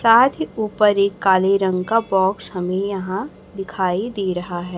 साथ ही ऊपर एक काले रंग का बॉक्स हमें यहां दिखाई दे रहा है।